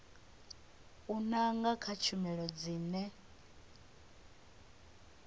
u nanga kha tshumelo dzine